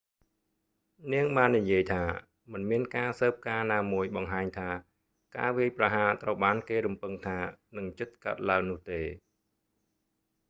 នាងបាននិយាយថា មិនមានការស៊ើបការណាមួយបង្ហាញថា ការវាយប្រហារត្រូវបានគេរំពឹងថានឹងជិតកើតឡើងនោះទេ